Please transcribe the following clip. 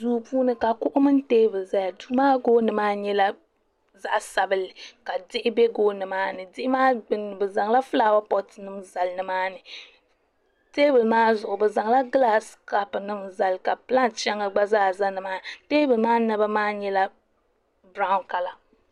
duu puuni ka kuɣu mini teebuli ʒɛya duu maa gooni maa nyɛla zaɣ sabinli ka diɣi bɛ gooni maa ni diɣi maa gbunni bi zaŋla fulaawa poot nim zali nimaani teebuli maa zuɣu bi zaŋla gilaas kaap nim zali ka binyɛri shɛŋa gba zaa ʒɛ nimaani teebuli maa naba maa nyɛla biraawn kala